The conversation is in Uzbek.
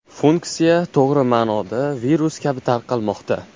Funksiya to‘g‘ri ma’noda virus kabi tarqalmoqda.